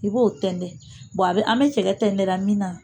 I b'o tɛntɛn a bɛ an bɛ cɛgɛ tɛntɛnra min na